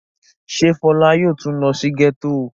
Ṣé Fọlá yóò tún lọ sí gẹ́tò?